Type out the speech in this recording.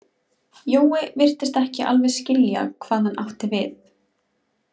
Jói virtist ekki alveg skilja hvað hann átti við.